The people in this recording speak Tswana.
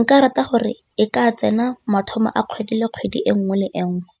nka rata gore e ka tsena mathomo a kgwedi le kgwedi e nngwe le e nngwe.